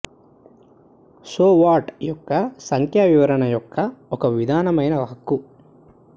so what యొక్క సంఖ్యా వివరణ యొక్క ఒక విధమైన హక్కు